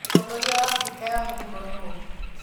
Mũtongoria wa Afrika ya mũhuro nũũ?